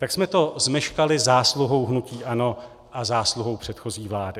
Tak jsme to zmeškali zásluhou hnutí ANO a zásluhou předchozí vlády.